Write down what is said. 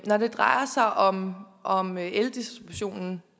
når det drejer sig om om eldistributionen